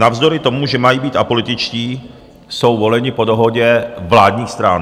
Navzdory tomu, že mají být apolitičtí, jsou voleni po dohodě vládních stran.